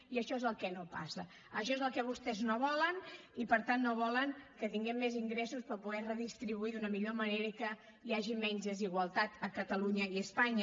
i això és el que no passa això és el que vostès no volen i per tant no volen que tinguem més ingressos per poder redistribuir d’una millor manera i que hi hagi menys desigualtat a catalunya i a espanya